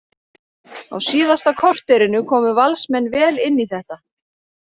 Á síðasta korterinu komu Valsmenn vel inn í þetta.